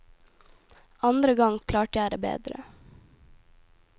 Andre gang klarte jeg det bedre.